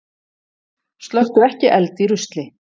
Slökktu ekki eld í rusli